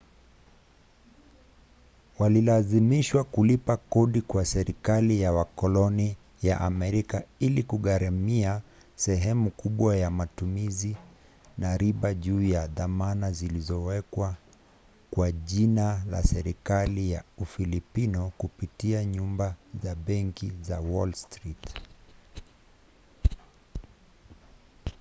walilazimishwa kulipa kodi kwa serikali ya wakoloni ya amerika ili kugharamia sehemu kubwa ya matumizi na riba juu ya dhamana zilizowekwa kwa jina la serikali ya ufilipino kupitia nyumba za benki za wall street